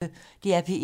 DR P1